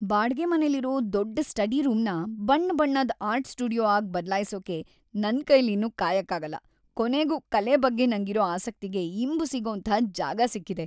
ಬಾಡ್ಗೆ ಮನೆಲಿರೋ ದೊಡ್ಡ್ ಸ್ಟಡಿ ರೂಮ್‌ನ ಬಣ್ಣಬಣ್ಣದ್ ಆರ್ಟ್‌ ಸ್ಟುಡಿಯೋ ಆಗ್ ಬದ್ಲಾಯ್ಸೋಕೆ ನನ್ಕೈಲಿನ್ನು ಕಾಯಕ್ಕಾಗಲ್ಲ. ಕೊನೆಗೂ ಕಲೆ ಬಗ್ಗೆ ನಂಗಿರೋ ಆಸಕ್ತಿಗೆ ಇಂಬು ಸಿಗೋಂಥ ಜಾಗ ಸಿಕ್ಕಿದೆ.